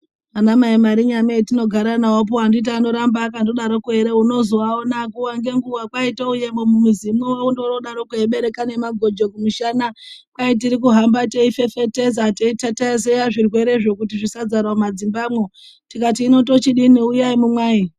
Anamai Marinyame atinogara nawopo anditi anoramba achidaroko ere unozoaona nguwa ngenguwa kwai touyemwo mumuzimwo ondodarokwo eibereka nemagojo kumushana. Kwai tiri kuhamba teifefetedza teitatezeya zvirwerezvo kuti zvisadzara mumadzimbamwo tikati hino tochidini uyai mumwaye.